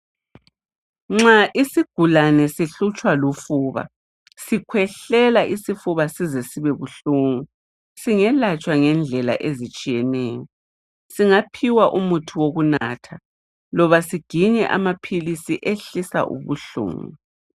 Nxa isigulane sihlutshwa lufuba sikhwehlela isifuba size sibebunhlungu singelatshwa ngendlela ezitshiyeneyo singaphiwa umuthi wokunatha loba siginye amaphisi ehlisa ubuhlungu.